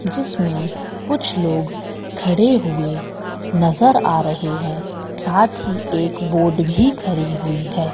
जिसमें कुछ लोग खड़े हुए नजर आ रहे है साथ ही एक बोर्ड भी खरि हुई है।